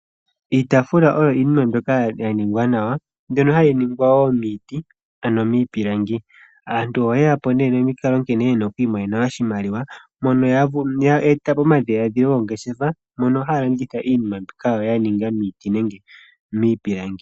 Iitafula oyo iinima mbyoka ya ningwa nawa mbyono hayi ningwa wo miiti ano miipilangi. Aantu oye yapo ne nomikalo nkene ye na okwiimonena oshimaliwa mono ya e tapo omadhiladhilo goongeshefa mono haya landitha iinima mbyoka ya ningwa miiti nenge miipilangi.